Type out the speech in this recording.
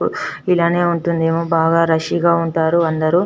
ఇలానే ఉంటుంది ఏమో చాల రాస్శి గ వుంటారు అందరు.